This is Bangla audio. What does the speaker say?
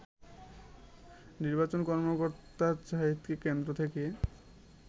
নির্বাচন কর্মকর্তা জাহিদকে কেন্দ্র থেকে